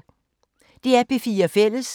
DR P4 Fælles